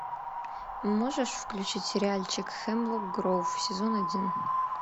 можешь включить сериальчик хемлок гроув сезон один